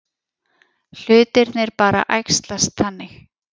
Hlutirnir bara æxlast þannig.